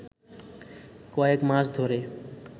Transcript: কয়েক মাস ধরে